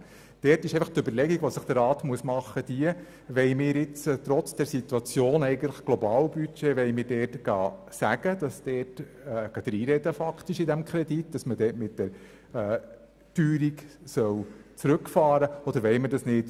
Der Rat muss sich nun überlegen, ob er in dieser speziellen Situation mit dem eigentlichen Globalbudget hier dennoch reinreden und bestimmen will, ob man mit der Teuerung zurückfahren soll oder nicht.